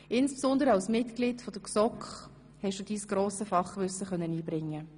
Insbesondere als Mitglied der GSoK konntest du dein grosses Fachwissen einbringen.